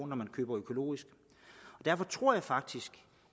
når man køber økologisk derfor tror jeg faktisk